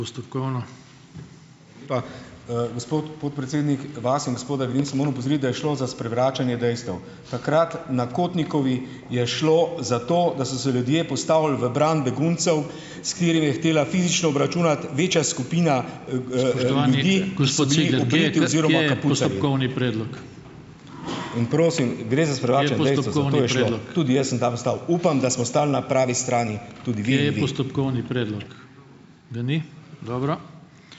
Pa. Gospod podpredsednik, vas in gospoda Grimsa moram opozoriti, da je šlo za sprevračanje dejstev. Takrat na Kotnikovi je šlo za to, da so se ljudje postavili v bran beguncev, s katerimi je hotela fizično obračunati večja skupina.